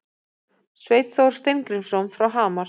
Sveinn Þór Steingrímsson frá Hamar